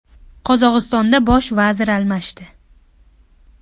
Qozog‘istonda bosh vazir almashdi.